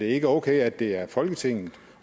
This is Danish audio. ikke okay at det er folketinget